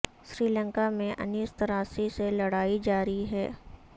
سری لنکا میں انیس تراسی سے لڑائی جاری ہے